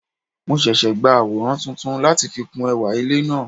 Mo sese gba aworan tuntun lati fi kun ewa ile naa